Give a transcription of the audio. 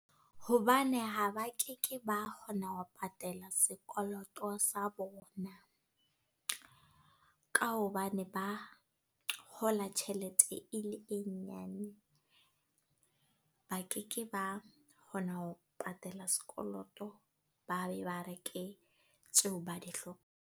Hobane ha ba ke ke ba kgona wa patala sekoloto sa bona. Ka hobane ba, kgola tjhelete e le e nyane. Ba ke ke ba kgona ho patala sekoloto, ba be ba reke tseo ba dihlokang.